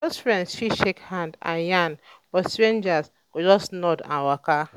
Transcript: close friends fit shake hand and yarn but stranger go just nod and waka.